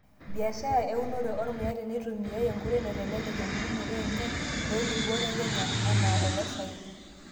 Biashara eunore ormuya teneitumiyai nkoitoi naaitelelek embulunoto enye toolubot ekenya anaa oloosaen.